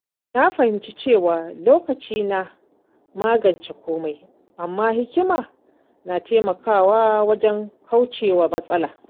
Na fahimci cewa lokaci na magance komai, amma hikima na taimakawa wajen kaucewa matsala.